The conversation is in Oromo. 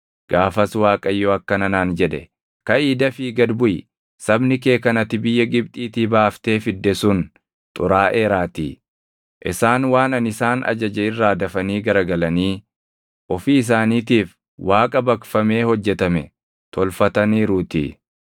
Gaafas Waaqayyo akkana naan jedhe; “Kaʼii dafii gad buʼi; sabni kee kan ati biyya Gibxiitii baaftee fidde sun xuraaʼeeraatii. Isaan waan ani isaan ajaje irraa dafanii garagalanii ofii isaaniitiif Waaqa baqfamee hojjetame tolfataniiruutii.”